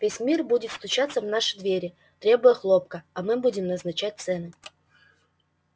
весь мир будет стучаться в наши двери требуя хлопка а мы будем назначать цены